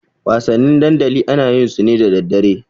Wasanni dandali ana yin su ne da daddare.